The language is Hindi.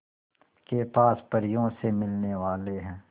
के पास परियों से मिलने वाले हैं